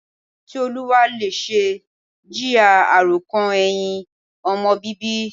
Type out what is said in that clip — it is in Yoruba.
Tioluwalase ń jìyà àròkàn ẹ̀hìn ọmọ bíbí.